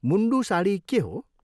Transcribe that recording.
मुन्डू साडी के हो?